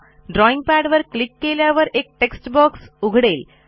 drawing पॅडवर click केल्यावर एक टेक्स्ट बॉक्स उघडेल